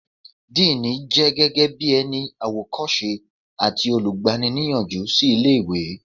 Díìnì jẹ́ gẹ́gẹ́ bí ẹni àwòkọ́ṣe àti olùgbani-níyànjú sí ilé ìwé